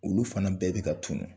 Olu fana bɛɛ bi ka tunnu.